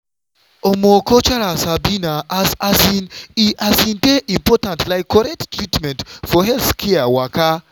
omo cultural sabi na as um e um dey important like correct treatment for healthcare waka.